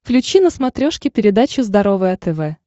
включи на смотрешке передачу здоровое тв